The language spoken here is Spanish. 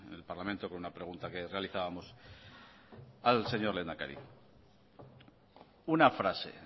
el parlamento con una pregunta que realizábamosal señor lehendakari una frase